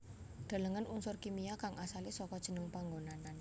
Delengen Unsur kimia kang asalé saka jeneng panggonan